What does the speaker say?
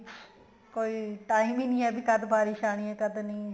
ਕੋਈ time ਹੀ ਨਹੀਂ ਕਦ ਬਾਰਿਸ ਆਣੀ ਹੈ ਕਦ ਨਹੀਂ